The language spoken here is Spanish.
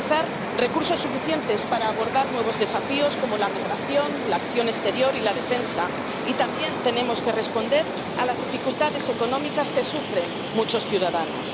garantizar recursos suficientes para abordar nuevos desafíos, como la migración, la acción exterior y la defensa, y también tenemos que responder a las dificultades económicas que sufren muchos ciudadanos.